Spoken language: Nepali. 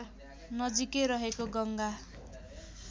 नजिकै रहेको गङ्गा